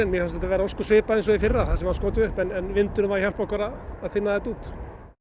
að þetta sé ósköp svipað og í fyrra það sem var skotið upp en vindurinn var að hjálpa okkur að þynna þetta út